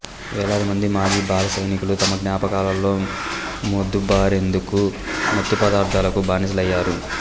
వేలాదిమంది మాజీ బాల సైనికులు తమ జ్ఞాపకాలలో మొద్దుబారేందుకు మత్తుపదార్థలకు బానిసలయ్యరు